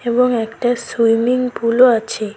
এবং একটা সুইমিং পুলও আছে।